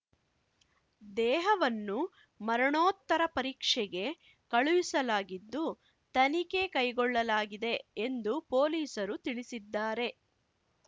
ದೇಹವನ್ನು ಮರಣೋತ್ತ ಪರೀಕ್ಷೆಗೆ ಕಳುಹಿಸಲಾಗಿದ್ದು ತನಿಖೆ ಕೈಗೊಳ್ಳಲಾಗಿದೆ ಎಂದು ಪೊಲೀಸರು ತಿಳಿಸಿದ್ದಾರೆ